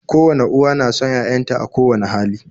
Kowane uwa na son 'ya'yanta a kowani hali